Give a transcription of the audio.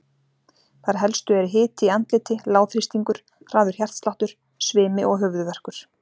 Þær helstu eru hiti í andliti, lágþrýstingur, hraður hjartsláttur, svimi og höfuðverkur.